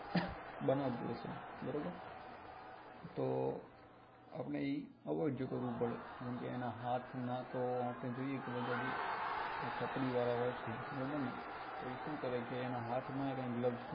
બનાવતો હશે બરોબર તો આપણે એ avoid કરવું પડે કેમ કે એના હાથ માં તો જોઈએ કે આ એના હાથ વાળા હોય છે બરોબર ને તો એ શું કરે કે તો એ એના હાથ માં ય glows